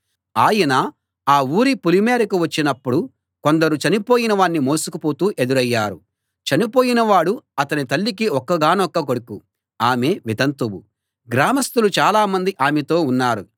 ఆయన ఆ ఊరి పొలిమేరకు వచ్చినప్పుడు కొందరు చనిపోయిన వాణ్ణి మోసుకుపోతూ ఎదురయ్యారు చనిపోయిన వాడు అతని తల్లికి ఒక్కగానొక్క కొడుకు ఆమె వితంతువు గ్రామస్తులు చాలామంది ఆమెతో ఉన్నారు